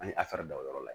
An ye da o yɔrɔ la